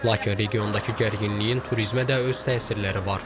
Lakin regiondakı gərginliyin turizmə də öz təsirləri var.